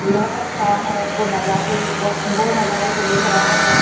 लड़का खड़ा है वो नज़ा ए बो बो नज़ारे को देख रहा है।